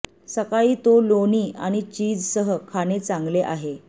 सकाळी तो लोणी आणि चीज सह खाणे चांगले आहे